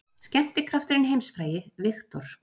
Skemmtikrafturinn heimsfrægi, Victor